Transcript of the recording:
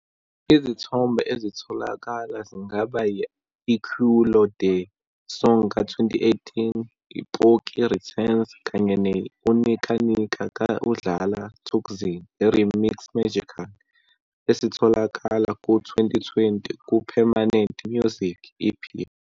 Izithombe ezitholakala zingaba yi-I-Culoe De Song ka-2018, "Poki Returns" kanye ne-u"Nika Nika" ka-UDlala Thukzin, i-remix magical, esitholakala ku-2020 ku-"Permanent Music", EP.